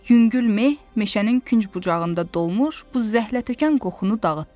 Yüngül meh meşənin künc bucağında dolmuş buz zəhlətökən qoxunu dağıtdı.